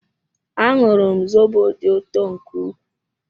Añụrum zobo dị ụtọ nke ukwuu